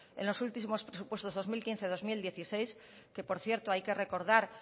en los últimos presupuestos dos mil quince dos mil dieciséis que por cierto hay que recordar